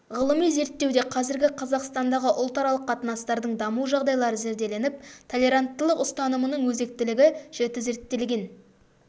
ғылыми зерттеуде қазіргі қазақстандағы ұлтаралық қатынастардың даму жағдайлары зерделеніп толеранттылық ұстанымының өзектілігі жіті зерттелген